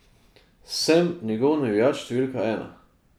Sem njegov navijač številka ena.